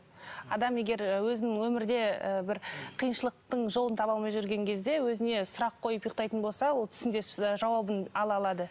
адам егер өзінің өмірде ы бір қиыншылықтың жолын таба алмай жүрген кезде өзіне сұрақ қойып ұйықтайтын болса ол түсінде ы жауабын ала алады